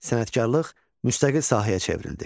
Sənətkarlıq müstəqil sahəyə çevrildi.